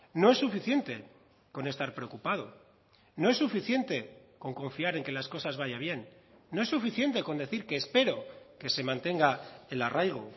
no es suficiente con estar preocupado no es suficiente con confiar en que las cosas vaya bien no es suficiente con decir que espero que se mantenga el arraigo